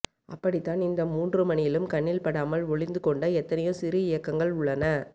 அப்படி தான் இந்த மூன்றுமணியிலும் கண்ணில் படாமல் ஒளிந்து கொண்ட எத்தனையோ சிறு இயக்கங்கள் உள்ளன